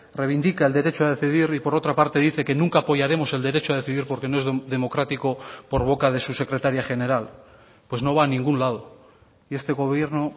reivindica el derecho a decidir y por otra parte dice que nunca apoyaremos el derecho a decidir porque no es democrático por boca de su secretaria general pues no va ningún lado y este gobierno